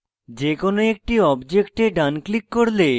যেকোনো একটি objects ডান click করলে